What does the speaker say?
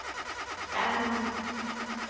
tami